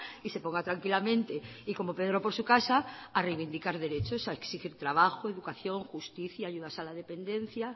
y se ponga tranquilamente y como pedro por su casa a reivindicar derechos a exigir trabajo educación justicia ayudas a la dependencia